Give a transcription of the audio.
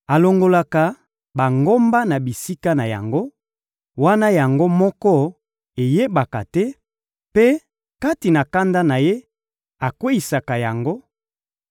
Alongolaka bangomba na bisika na yango, wana yango moko eyebaka te, mpe, kati na kanda na Ye, akweyisaka yango;